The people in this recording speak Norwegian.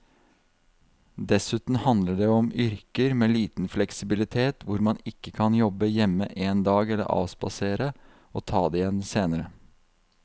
Dessuten handler det om yrker med liten fleksibilitet hvor man ikke kan jobbe hjemme en dag eller avspasere og ta det igjen senere.